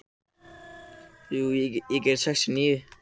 Svanberg, hvað er í matinn á mánudaginn?